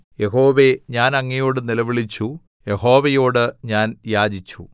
യഹോവേ ഞാൻ അങ്ങയോട് നിലവിളിച്ചു യഹോവയോട് ഞാൻ യാചിച്ചു